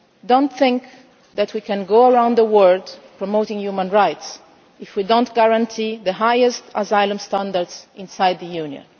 Do not think that we can go around the word promoting human rights if we do not guarantee the highest asylum standards inside the Union.